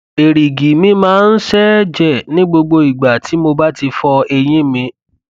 èrìgì mi máa ń ṣẹẹjẹ ní gbogbo ìgbà tí mo bá ti fọ eyín mi